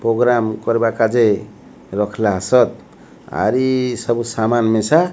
programme କର୍ବା କାଜେ ରଖଲା ସତ୍ ଆରି ସବୁ ସାମାନ୍ ମିଶା --